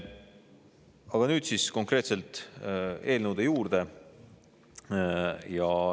Aga nüüd konkreetselt eelnõude juurde.